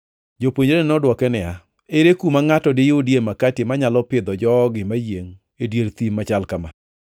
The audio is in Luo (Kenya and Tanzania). Jopuonjrene nodwoke niya, “Ere kuma ngʼato diyudie makati manyalo pidho jogi mayiengʼ e dier thim machal kama?”